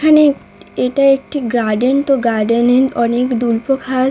এখানে এটা একটি গার্ডেন তো গার্ডেন -এ অনেক দুল্প ঘাস--